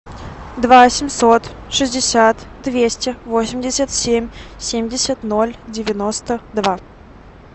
два семьсот шестьдесят двести восемьдесят семь семьдесят ноль девяносто два